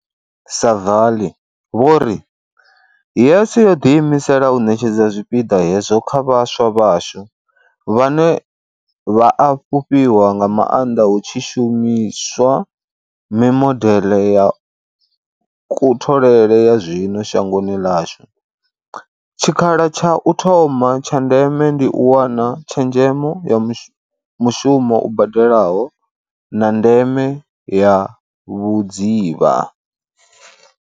Saville vho ri, YES yo ḓiimisela u ṋetshedza tshipiḓa hetsho kha vhaswa vhashu, vhane vha a fhufhiwa nga maanḓa hutshi shumi swa mimodeḽe ya kutholele ya zwino shangoni ḽashu, tshikha la tsha u thoma tsha ndeme ndi u wana tshezhemo ya mushumo u badelaho, na ndeme ya vhudzivha.